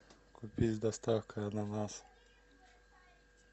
купить с доставкой ананас